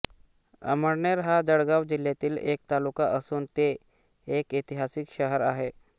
अमळनेर हा जळगाव जिल्ह्यातील एक तालुका असून ते एक ऐतिहासिक शहर आहे